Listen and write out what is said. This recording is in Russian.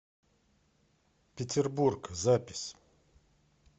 петербург запись